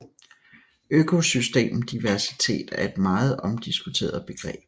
Økosystem diversitet er et meget omdiskuteret begreb